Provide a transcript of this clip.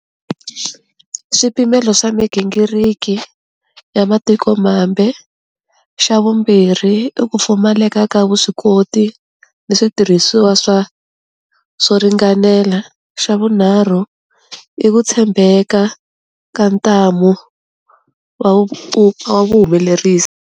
Swipimelo swa migingiriki ya matiko mambe, xa vumbirhi i ku pfumaleka ka vuswikoti ni switirhiwa swa swo ringanela, xa vunharhu i ku tshembeka ka ntamu wa vuhumelerisi.